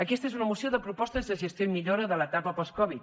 aquesta és una moció de propostes de gestió i millora de l’etapa post covid